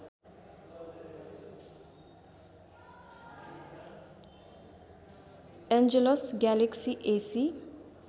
Angelus galaxy एसि